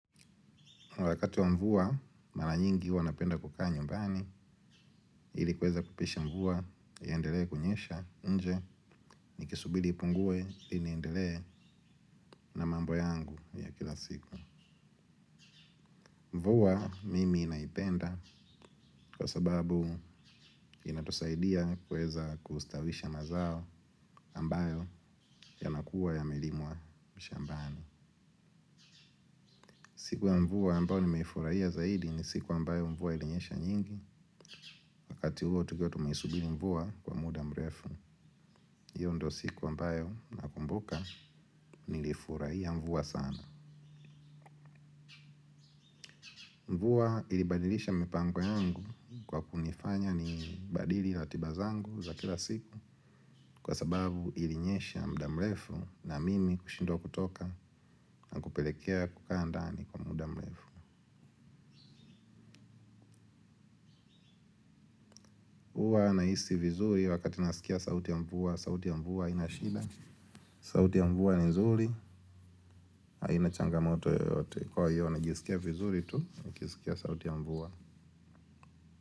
Wakati wa mvua mara nyingi huwa napenda kukaa nyumbani ili kuweza kupisha mvua iendelee kunyesha nje nikisubiri ipungue ili niendelee. Na mambo yangu ya kila siku. Mvua mimi naipenda kwa sababu inatusaidia kuweza kustawisha mazao ambayo yanakuwa yamelimwa mshambani. Siku ya mvua ambayo nimeifurahia zaidi ni siku ambayo mvua ilinyesha nyingi. Wakati huo tukiwa tumeisubiri mvua kwa muda mrefu. Hiyo ndiyo siku ambayo nakumbuka nilifurahia mvua sana. Mvua ilibadilisha mipango yangu kwa kunifanya nibadili ratiba zangu za kila siku kwa sababu ilinyesha muda mrefu na mimi kushindwa kutoka na kupelekea kukaa ndani kwa muda mrefu. Huwa nahisi vizuri wakati naskia sauti ya mvua sauti ya mvua haina shida sauti ya mvua ni nzuri. Haina changamoto yote kwa hiyo najisikia vizuri tu nikisikia sauti ya mvua.